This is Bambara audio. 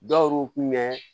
Dɔw kun bɛ